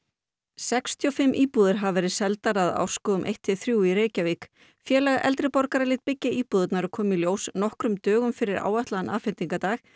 sextíu og fimm íbúðir hafa verið seldar að Árskógum eina til þrjár í Reykjavík félag eldri borgara lét byggja íbúðirnar og kom í ljós nokkrum dögum fyrir áætlaðan afhendingardag